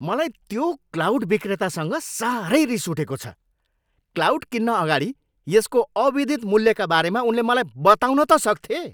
मलाई त्यो क्लाउड विक्रेतासँग साह्रै रिस उठेको छ। क्लाउड किन्न अगाडि यसको अविदित मूल्यका बारेमा उनले मलाई बताउन त सक्थे!